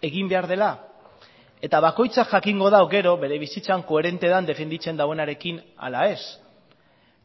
egin behar dela eta bakoitzak jakingo du gero bere bizitzan koherente den defenditzen duenaren ala ez